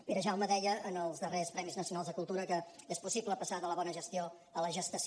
perejaume deia en els darrers premis nacionals de cultura que és possible passar de la bona gestió a la gestació